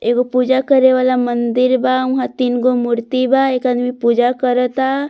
एगो पूजा करे वाला मंदिर बा ओ में तीन जो मूर्ति बा एक आदमी पूजा करता --